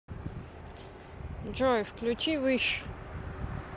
джой включи виш